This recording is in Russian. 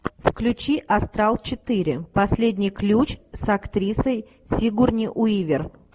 включи астрал четыре последний ключ с актрисой сигурни уивер